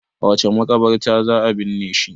a wace makabarta za a binne shi